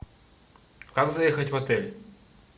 как заехать в отель